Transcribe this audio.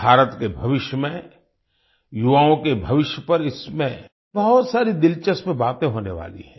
भारत के भविष्य में युवाओं के भविष्य पर इसमें बहुत सारी दिलचस्प बातें होने वाली हैं